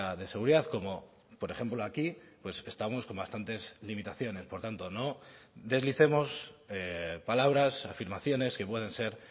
de seguridad como por ejemplo aquí pues estamos con bastantes limitaciones por tanto no deslicemos palabras afirmaciones que pueden ser